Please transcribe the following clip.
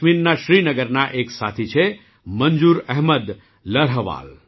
જમ્મુકાશ્મીરના શ્રીનગરના એક સાથી છે મંજૂર અહમદ લર્હવાલ